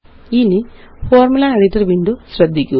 ഇനിFormula editor window ശ്രദ്ധിക്കുക